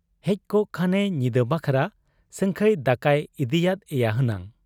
ᱦᱮᱡᱠᱚᱜ ᱠᱷᱟᱱᱮ ᱧᱤᱫᱟᱹ ᱵᱟᱠᱷᱨᱟ ᱥᱟᱹᱝᱠᱷᱟᱹᱭ ᱫᱟᱠᱟᱭ ᱤᱫᱤᱭᱟᱫ ᱮᱭᱟ ᱦᱮᱱᱟᱝ ᱾